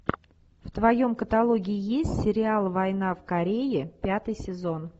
в твоем каталоге есть сериал война в корее пятый сезон